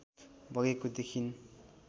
बगेको देखिन्